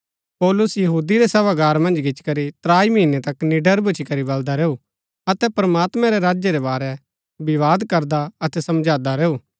पौलुस यहूदी रै सभागार मन्ज गिचीकरी त्राई महीनै तक निड़र भूच्ची करी बलदा रैऊ अतै प्रमात्मैं रै राज्य रै बारै विवाद करदा अतै समझांदा रैऊ